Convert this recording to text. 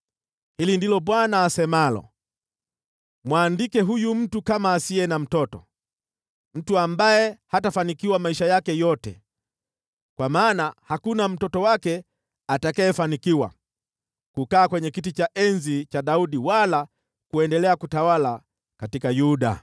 Hili ndilo Bwana asemalo: “Mwandike huyu mtu kama asiye na mtoto, mtu ambaye hatafanikiwa maisha yake yote, kwa maana hakuna mtoto wake atakayefanikiwa, wala kukaa kwenye kiti cha enzi cha Daudi wala kuendelea kutawala katika Yuda.”